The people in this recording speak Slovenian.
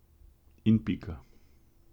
In pika.